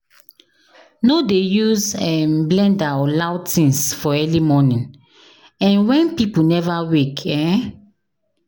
No dey use um blender or loud things for early morning um wen people never wake. um